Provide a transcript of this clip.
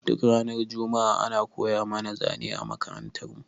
Duk ranar juma'a ana koya mana zane a makarantar mu